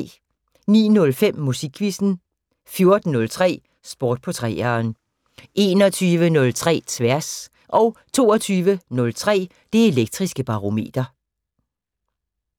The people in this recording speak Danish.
09:05: Musikquizzen 14:03: Sport på 3'eren 21:03: Tværs 22:03: Det Elektriske Barometer